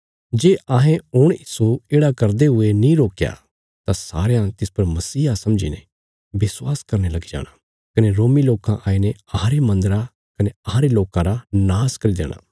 जे अहें हुण इस्सो येढ़ा करदे हुये नीं रोकया तां सारयां तिस पर मसीहा समझीने विश्वास करने लगी जाणा कने रोमी लोकां आईने अहांरे मन्दरा कने अहांरे लोकां रा नाश करी देणा